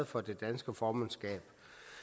for det danske formandskab